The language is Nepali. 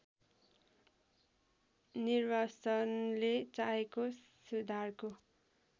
निर्वासनले चाहेको सुधारको